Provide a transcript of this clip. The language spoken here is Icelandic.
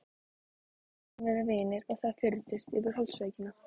Við skulum vera vinir og það fyrnist yfir holdsveikina.